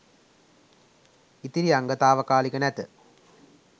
ඉතිරි අංග තාවකාලික නැත